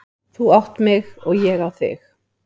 Þú átt mig og ég á þig.